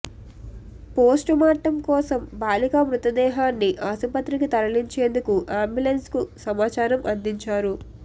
postmortem కోసం బాలిక మృతదేహాన్ని ఆసుపత్రికి తరలించేందుకు అంబులెన్స్ కు సమాచారం అందించారు